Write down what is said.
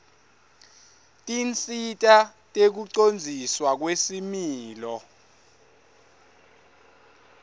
tinsita tekucondziswa kwesimilo